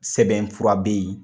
Sɛbɛn fura be yen